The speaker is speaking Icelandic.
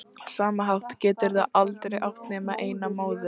sama hátt geturðu aldrei átt nema eina móður.